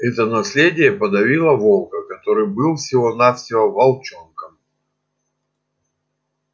это наследие подавило волка который был всего навсего волчонком